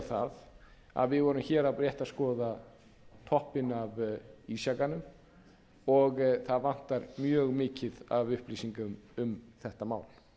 það að við vorum hér rétt að skoða toppinn af ísjakanum og það vantar mjög mikið af upplýsingum um þetta mál